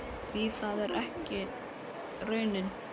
Því það er ekki raunin.